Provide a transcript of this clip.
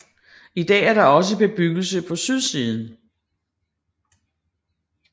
I dag er der også bebyggelse på sydsiden